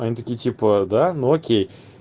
они такие типа да ну окей